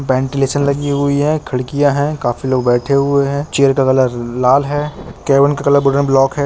Ventilation लगी हुई है। खिड्किया है। काफी लोग बैठे हुए है। चेयर का कलर का लाल है। केवेन का कलर है।